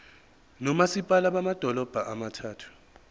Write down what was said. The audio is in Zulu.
nomasipala bamadolobha abathathu